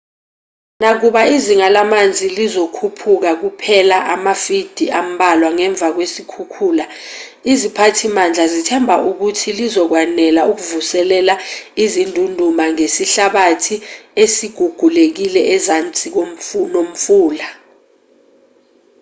nakuba izinga lamanzi lizokhuphuka kuphela amafidi ambalwa ngemva kwesikhukhula iziphathimandla zithemba ukuthi lizokwanela ukuvuselela izindunduma zesihlabathi ezigugulekile ezansi nomfula